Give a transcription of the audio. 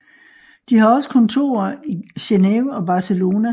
De har også kontorer i Genève og Barcelona